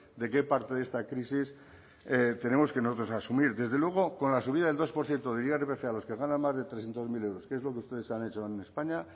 de qué parte de esta crisis tenemos nosotros que asumir desde luego con la subida del dos por ciento del irpf a los que ganan más de trescientos mil euros que es lo que ustedes han hecho en españa